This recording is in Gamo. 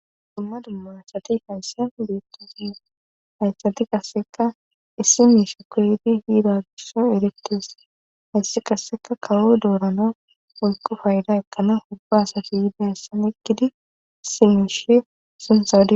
dumma dumma asati hayssa beettes hayssati qasseka issi miishe koydi hiida gisha erittes haysse qasseka kawo doorana oykko fayda ekkana hubba asati yide assan ekkidi issi miishe sinsadi